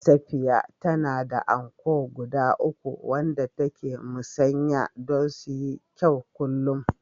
Safiya tana da anko guda uku wanda take musanya don su yi kyau kullum